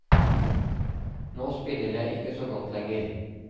Nå spiller jeg ikke så godt lenger.